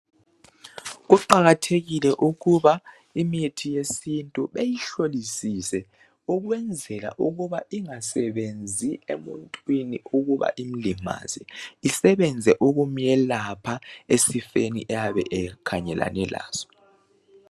Kuqakathekile ukuba imithi yesintu beyihlolisise ukwenzela ukuba ingasebenzi emuntwini ukuba imlimaze .Isebenze ukumu yelapha esifeni ayabe ekhangelane laso.